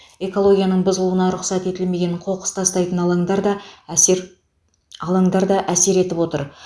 экологияның бұзылуына рұқсат етілмеген қоқыс тастайтын алаңдар да әсер алаңдар да әсер етіп отыр